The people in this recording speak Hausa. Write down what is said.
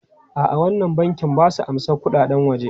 A'a, wannan bankin ba su amsan kuɗaɗen waje.